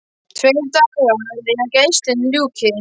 Tveir dagar í að gæslunni ljúki.